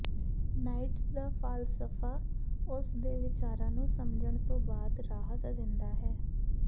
Nietzsche ਦਾ ਫ਼ਲਸਫ਼ਾ ਉਸ ਦੇ ਵਿਚਾਰਾਂ ਨੂੰ ਸਮਝਣ ਤੋਂ ਬਾਅਦ ਰਾਹਤ ਦਿੰਦਾ ਹੈ